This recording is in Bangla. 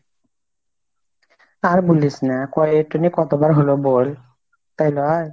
আর বুলিস না, এটো নিয়ে কতবার হলো বোল তাই লয়?